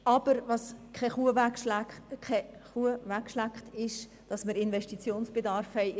Aber es schleckt keine Geiss weg, dass wir in den nächsten fünf, sechs Jahren Investitionsbedarf haben.